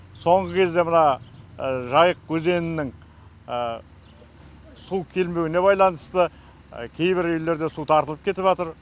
соңғы кезде мына жайық өзенінің су келмеуіне байланысты кейбір үйлерде су тартылып кетіп жатыр